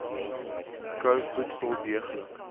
kou voedsel deeglik